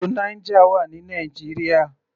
Odò Niger wà ní Nigeria.